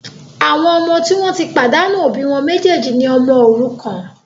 Àwọn ọmọ tí wọn tí pàdánù òbí wọn méjèjì ní ọmọ òrukàn